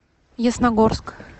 ясногорск